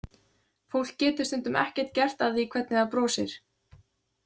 Fólk getur stundum ekkert gert að því hvernig það brosir.